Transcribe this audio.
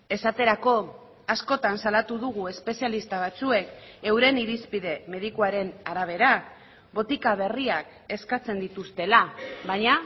esaterako askotan salatu dugu espezialista batzuek euren irizpide medikuaren arabera botika berriak eskatzen dituztela baina